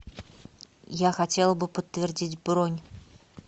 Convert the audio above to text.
я хотела бы подтвердить бронь